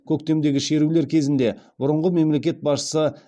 көктемдегі шерулер кезінде бұрынғы мемлекет басшысы